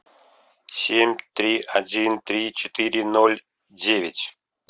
семь три один три четыре ноль девять